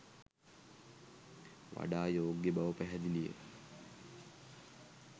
වඩා යෝග්‍ය බව පැහැදිලිය.